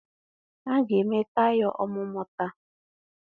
a ga-eme taya ọmụmụ taa